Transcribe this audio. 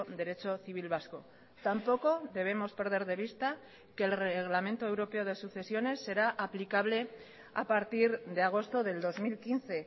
derecho civil vasco tampoco debemos perder de vista que el reglamento europeo de sucesiones será aplicable a partir de agosto del dos mil quince